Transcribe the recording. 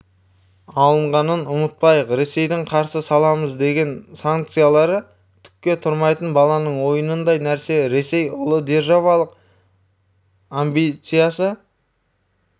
алынғанын ұмытпайық ресейдің қарсы саламыз деген санкциялары түкке тұрмайтын баланың ойынындай нәрсе ресей ұлыдержавалық амбициясы